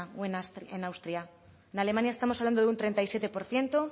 o en austria en alemania estamos hablando de un treinta y siete por ciento